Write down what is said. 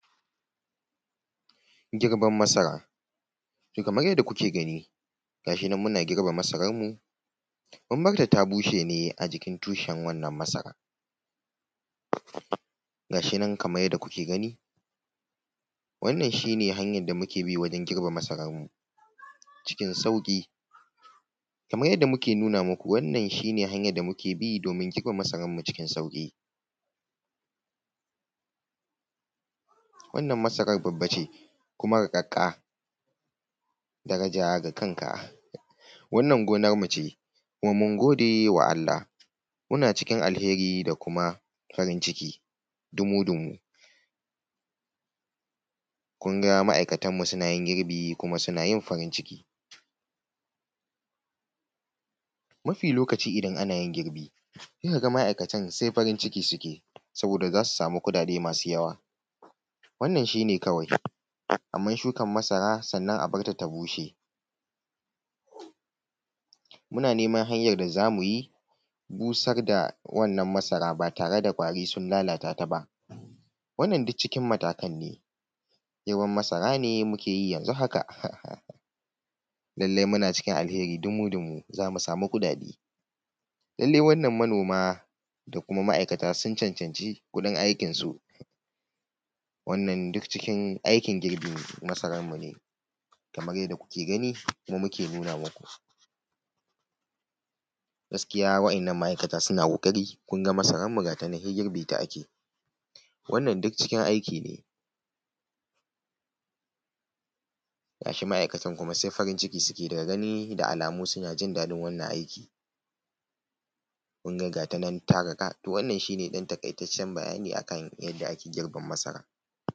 Girban masara, kaman yadda kuke ganii ga shi nan muna girba masaranmu, mun batta ta bushe ne a jikin tushen wannan masara. Ga shi nan kamar yadda kuke gani wannan shi ne hanyar da muke bi wajen girbe masaranmu cikin sauƙi, kaman yadda muke nuna maku wannan shi ne hanyar da muke bi doomin girbe masaranmu cikin sauƙi. Wannan masara babba ce kuma riƙaƙƙaa, darajaa da kankaa, wannan gonarmu ce kuma mun gode wa Allah muna cikin alheri da kuma farin ciki dumu-dumu. Kun ga ma'aikatanmu sunaa yin girbii kuma suna yin farin ciki, mafi lokaci idan ana yin girbi sai ka ga ma'aikatan sai farin ciki suke sabooda za su samu kuɗaɗee masu yawa. Wannan shi ne kawai amma shukar masara sannan a bar ta ta bushe, muna neman hanyar da za mu yi busar da wannan masara ba tare da ƙwarii sun lalata ta ba. Wannan duk cikin matakan ne girban masara ne muke yi yanzu haka, lallai muna cikin alheri dumu-dumu za mu samu kuɗaɗe. Lallai wannan manooma da kuma ma'aikata sun cancanci kuɗin aikinsu, wannan duk cikin aikin girbin masararmu ne kamar yadda kuke gani mu muke nuna maku. Gaskiya waɗannan ma'aikata suna ƙoƙari, kun ga masararmu ga ta nan sai girbe ta ake, wannan duk cikin aiki ne ga shi ma'aikatan kuma sai farin ciki suke da gani da alamu suna jin daɗin wannan aiki, kun ga gaa ta nan ta riƙa to wannan shi ne ɗan taƙaitaccen bayani a kan yadda ake girban masara.